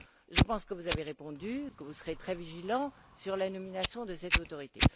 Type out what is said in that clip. Je pense que vous avez répondu et que vous serez très vigilant sur la nomination de cette autorité.